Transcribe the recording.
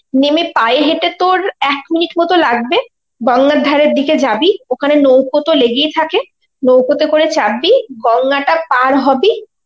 নেমে পায়ে হেঁটে তোর এক minute মত লাগবে, গঙ্গার ধারের দিকে যাবি ওখানে নৌকোতো লেগেই থাকে, নৌকোতে করে চাপবি, গঙ্গাটা পার হবি,